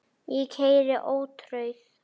Ég keyri ótrauð